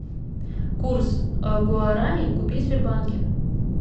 курс гуарани купить в сбербанке